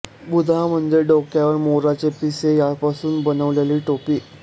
बूद्या म्हणजे डोक्यावर मोराची पिसे यांपासून बनवलेली टोपी